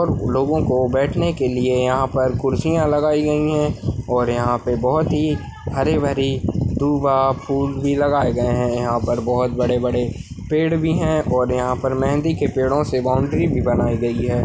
लोगोंकों बैठने के लिए यहा पर खुर्चिया लगाई गयी है और यहा पे बहोत ही हरिबरी दुवा फूल की लगाए गए है यहा पर बड़े- बड़े पेड़ भी है और यहा पर मेहँदी के पेड़ोंसे बोंडरी भी बनाई गयी है।